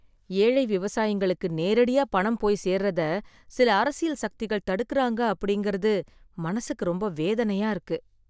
ஏழை விவசாயிங்களுக்கு நேரடியா பணம் போய்ச் சேர்றத சில அரசியல் சக்திகள் தடுக்கிறாங்க அப்படிங்கிறது மனசுக்கு ரொம்ப வேதனையா இருக்கு